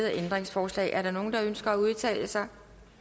ændringsforslag er der nogen der ønsker at udtale sig